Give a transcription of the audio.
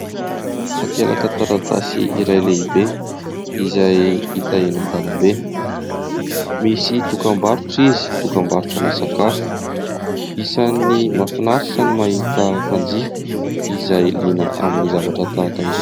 Takelaka taratasy iray lehibe izay hita eny an-dalambe. Misy dokam-barotra izy, dokam-barotrana sakafo. Isan' ny mahafinaritra ny mahita mpanjifa izay liana amin'ny zavatra tahaka izao.